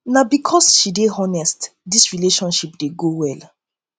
na um because sey she dey honest dis relationship dey um go well